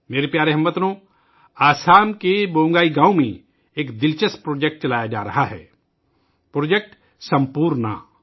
میرے پیارے ہم وطنو، آسام کے بونگئی گاؤں میں ایک دلچسپ پروجیکٹ چلایا جا رہا ہے پروجیکٹ سمپورن